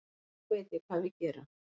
Nú veit ég hvað við gerum